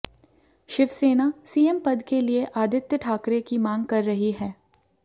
Shiv Sena CM पद के लिए आदित्य ठाकरे की मांग कर रही है